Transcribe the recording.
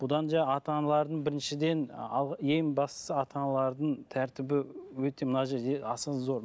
бұдан жаңағы ата аналардың біріншіден ең бастысы ең бастысы ата аналардың тәртібі өте мына жерде аса зор